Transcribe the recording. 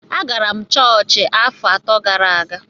Agara m chọọchị afọ atọ gara aga